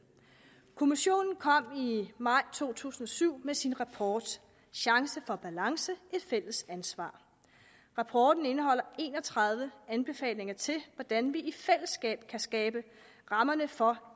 kommissionen kom i maj to tusind og syv med sin rapport chance for balance et fælles ansvar rapporten indeholder en og tredive anbefalinger til hvordan vi i fællesskab kan skabe rammerne for